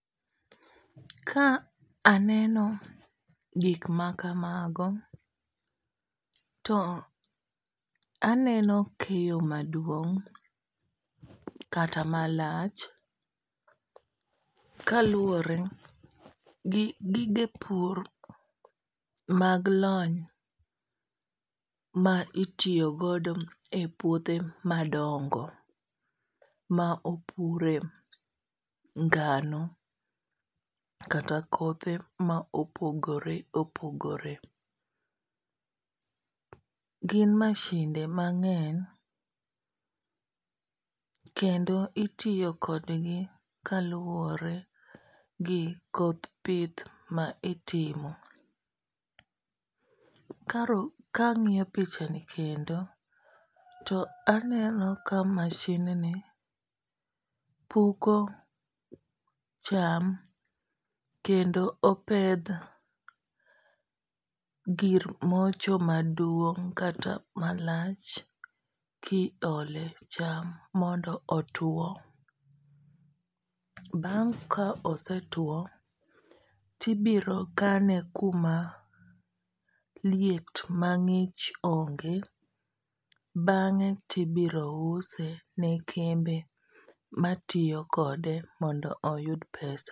Ka aneno gik ma kamago to aneno keyo maduong' kata malach. Kaluwore gi gige pur mag lony ma itiyo godo e puothe ma dongo ma opure ngano, kata kothe ma opogore opogore. Gin mashinde mang'eny kendo itiyo kodgi kaluwore gi koth pith ma itimo. Ka ang'iyo picha ni kendo to aneno ka mashin ni puko cham kendo opedh gir mocho maduong' kata malach ki ole cham mondo otuo. Bang' ka osetuo, tibiro kane kuma liet ma ng'ich onge. Bang'e tibiro use ne kembe ma tiyo kode mondo oyud pesa.